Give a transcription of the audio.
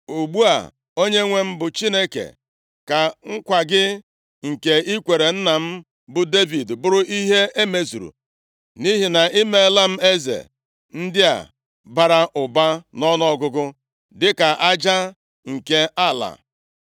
Ugbu a, Onyenwe anyị bụ Chineke, ka nkwa gị nke i kwere nna m, bụ Devid, bụrụ ihe e mezuru, nʼihi na ị meela m eze ndị a bara ụba nʼọnụọgụgụ dịka aja nke ala.